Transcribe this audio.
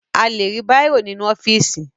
A lè rí bàírò nínú ọ́fíìsì